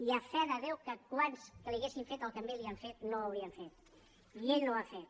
i a fe de déu que quants als quals els haguessin fet el que a ell li han fet no ho haurien fet i ell no ho ha fet